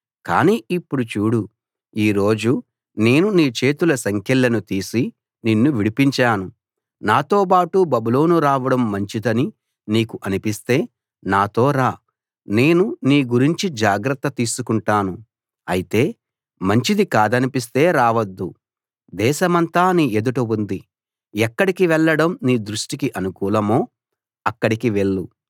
కాని ఇప్పుడు చూడు ఈ రోజు నేను నీ చేతుల సంకెళ్లను తీసి నిన్ను విడిపించాను నాతోబాటు బబులోను రావడం మంచిదని నీకు అనిపిస్తే నాతో రా నేను నీ గురించి జాగ్రత్త తీసుకుంటాను అయితే మంచిది కాదనిపిస్తే రావద్దు దేశమంతా నీ ఎదుట ఉంది ఎక్కడికి వెళ్ళడం నీ దృష్టికి అనుకూలమో అక్కడికి వెళ్ళు